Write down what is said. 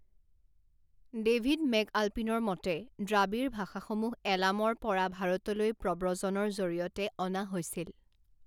David মেকআলপিনৰ মতে, দ্ৰাৱিড় ভাষাসমূহ এলামৰ পৰা ভাৰতলৈ প্ৰব্ৰজনৰ জৰিয়তে অনা হৈছিল।